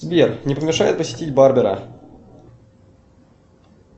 сбер не помешает посетить барбера